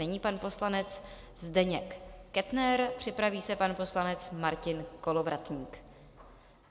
Nyní pan poslanec Zdeněk Kettner, připraví se pan poslanec Martin Kolovratník.